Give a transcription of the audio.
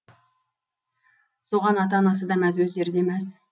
соған ата анасы да мәз өздері де мәз